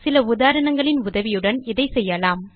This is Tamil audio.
சில உதாரணங்களின் உதவியுடன் இதை செய்யலாம்